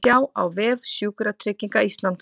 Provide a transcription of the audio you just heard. Sjá á vef Sjúkratrygginga Íslands